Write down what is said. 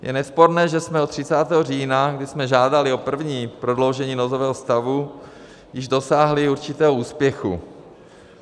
Je nesporné, že jsme od 30. října, kdy jsme žádali o první prodloužení nouzového stavu, již dosáhli určitého úspěchu.